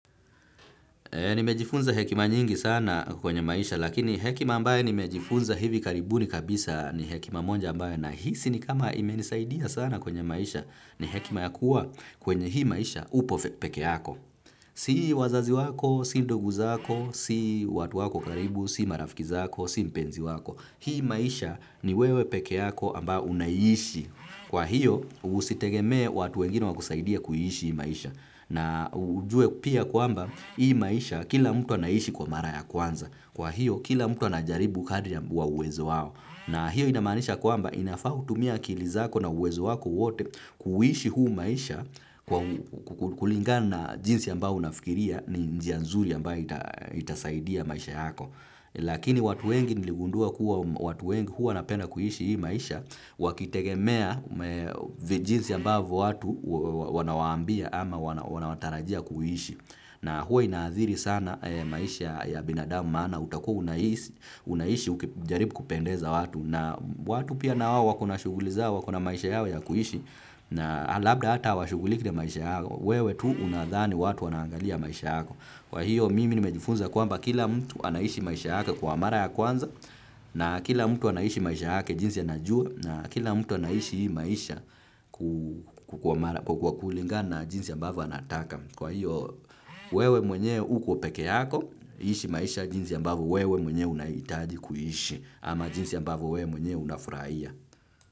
Nimejifunza hekima nyingi sana kwenye maisha lakini hekima ambaye nimejifunza hivi karibuni kabisa ni hekima monja ambaye nahisi ni kama imenisaidia sana kwenye maisha ni hekima ya kuwa kwenye hii maisha upo peke yako. Si wazazi wako, si indugu zako, si watu wako wa karibu, si marafiki zako, si mpenzi wako. Hii maisha ni wewe peke yako ambao unaiishi. Kwa hiyo usitegemee watu wengine wakusaidie kuiishi ii maisha. Na ujue pia kwamba ii maisha kila mtu anaishi kwa mara ya kwanza. Kwa hiyo kila mtu anajaribu kadri ya bu wa uwezo wao. Na hiyo inamaanisha kwamba inafaa utumie akili zako na uwezo wako wote kuuishi huu maisha kulingana jinsi ambao unafikiria ni njia nzuli ambayo itasaidia maisha yako. Lakini watu wengi niligundua kuwa watu wengi huwa wanapenda kuishi ii maisha wakitegemea vi jinsi ambavo watu wanawaambia ama wanawatarajia kuishi. Na huwe inaathiri sana maisha ya binadamu maana utakua unaishi ukijaribu kupendeza watu. Na watu pia na wao wako na shughuli zao wako na maisha yao ya kuishi. Na labda ata hawashughuliki na maisha yako. Wewe tu unadhani watu wanaangalia maisha yako. Kwa hiyo mimi nimejifunza kwamba kila mtu anaishi maisha yake kwa mara ya kwanza na kila mtu anaishi maisha yake jinsi anajua na kila mtu anaishi ii maisha ku kwa kulinga na jinsi ambavo anataka. Kwa hiyo wewe mwenye uko peke yako ishi maisha jinsi ambavo wewe mwenyewe unaiitaji kuiishi ama jinsi ambavo wewe mwenye unafuraia.